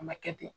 A ma kɛ ten